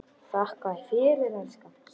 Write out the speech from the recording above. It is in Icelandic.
Þakka þér fyrir, elskan.